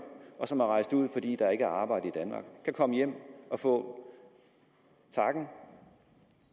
og som er rejst ud fordi der ikke var arbejde i danmark kan komme hjem og få takken